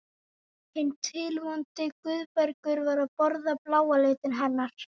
Hinn tilvonandi Guðbergur var að borða bláa litinn hennar.